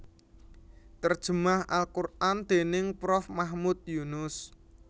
Terjemah al Qur an déning Prof Mahmud Yunus